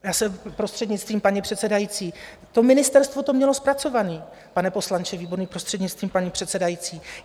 Já jsem - prostřednictvím paní předsedající, to ministerstvo to mělo zpracované, pane poslanče Výborný, prostřednictvím paní předsedající.